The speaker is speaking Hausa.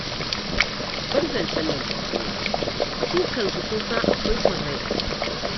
Bar zancen nan don Allah. Su kansu sun san akwai son rai a ciki